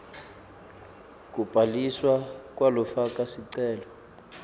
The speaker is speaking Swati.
kubhaliswa kwalofaka sicelo